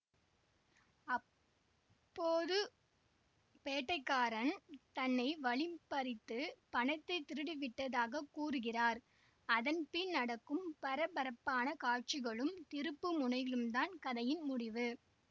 அப்போது பேட்டைகாரன் தன்னை வழிபறித்து பணத்தை திருடிவிட்டதாகக் கூறுகிறார் அதன் பின் நடக்கும் பரபரப்பான காட்சிகளும் திருப்பு முனைகளும்தான் கதையின் முடிவு